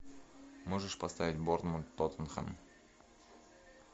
можешь поставить борнмут тоттенхэм